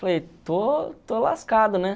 Falei, pô estou lascado, né?